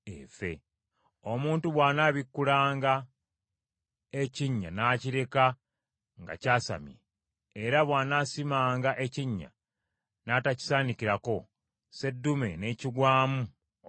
“Omuntu bw’anaabikkulanga ekinnya n’akireka nga kyasamye, oba bw’anaasimanga ekinnya n’atakisaanikirako, seddume n’ekigwamu oba endogoyi,